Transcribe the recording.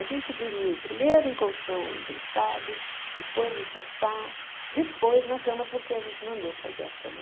A gente dormiu primeiro em colchão emprestado, depois em sofá, depois na cama, porque a gente mandou fazer a cama.